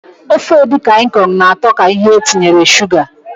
Ofe edikang ikong na atọ ka ihe etinyere Suga.